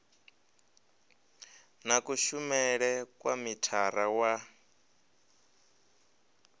na kushumele kwa mithara wa